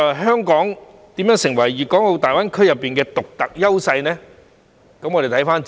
香港如何能成為大灣區的獨特優勢呢？